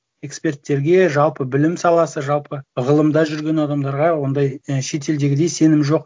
эксперттерге жалпы білім саласы жалпы ғылымда жүрген адамдарға ондай і шетелдегідей сенім жоқ